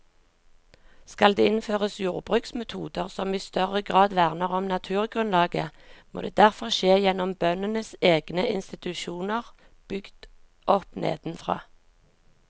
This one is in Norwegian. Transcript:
Skal det innføres jordbruksmetoder som i større grad verner om naturgrunnlaget, må det derfor skje gjennom bøndenes egne institusjoner bygd opp nedenfra.